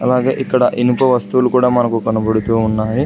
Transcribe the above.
అలాగే ఇక్కడ ఇనుప వస్తువులు కూడా మనకు కనపడుతూ ఉన్నాయి.